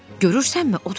Görürsənmi?